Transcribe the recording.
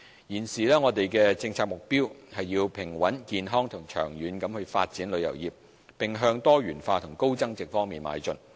現時，我們的政策目標是要平穩、健康及長遠地發展旅遊業，並向多元化及高增值方向邁進。